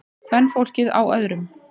Kvenfólkið á öðrum.